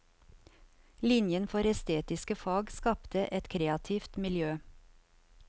Linjen for estetiske fag skapte et kreativt miljø.